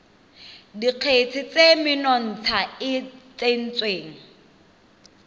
dikgetse tse menontsha e tsengwang